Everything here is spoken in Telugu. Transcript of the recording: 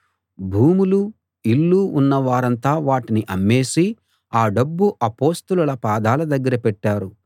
భూములూ ఇళ్ళూ ఉన్నవారంతా వాటిని అమ్మేసి ఆ డబ్బు అపొస్తలుల పాదాల దగ్గర పెట్టారు